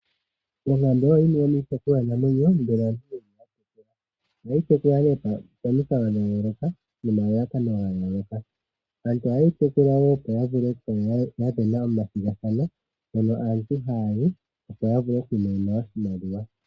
Onkambe oyo yimwe yomiitekulwanamwenyo mbyono aantu haya kala yena. Ohadhi tekulwa nee pomikalo dha yooloka nomalalakano ga yooloka. Aantu ohaye dhi tekula wo opo ya vule okusindana omathigathano, hono aantu haya yi opo ya vule oku imonena oshimaliwa.